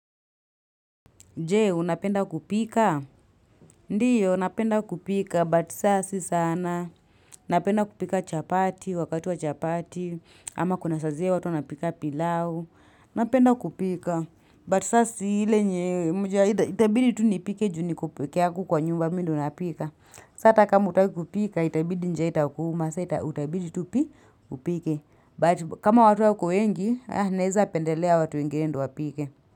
Jee, unapenda kupika? Ndiyo, napenda kupika, but sasa si sana. Napenda kupika chapati, wakati wa chapati, ama kuna sa zile watu wanapika pilau. Unapenda kupika, but sasi hile nye, itabidi tu nipike juni kupikeyaku kwa nyumba minu unapika. Sa hta kama hautaki kupika, itabidi njaa itakuuma, itabidi tu pi, upike. But kama watu ya wako wengi, naezapendelea watu wengine ndio wapike.